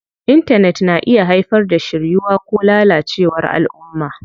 Intanet na iya haifar da shiryuwa ko lalacewar alʼumma.